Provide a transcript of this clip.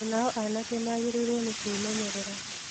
O nao anake magĩrĩirũo nĩ kwĩmenyerera.